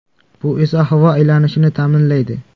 Bu esa havo aylanishini ta’minlaydi.